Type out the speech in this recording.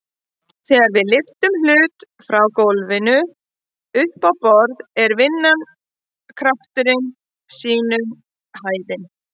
Þegar við lyftum hlut frá gólfinu upp á borð er vinnan krafturinn sinnum hæðin.